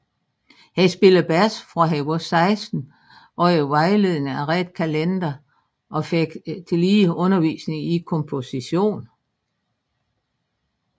Han spillede bas fra han var 16 under vejledning af Red Callender og fik tillige undervisning i komposition